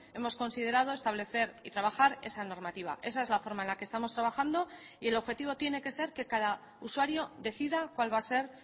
hemos considerado establecer y trabajar esa normativa esa es la forma en la que estamos trabajando y el objetivo tiene que ser que cada usuario decida cuál va a ser